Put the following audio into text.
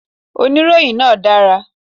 Oníròyìn náà dára